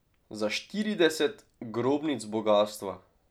Za štirideset grobnic bogastva.